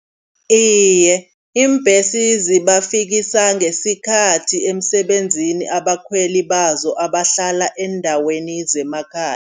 Iye iimbhesi zibafikisa ngesikhathi emsebenzini abakhweli bazo abahlala eendaweni zemakhaya.